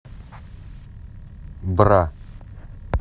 бра